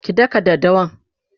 ki dakka daddawan!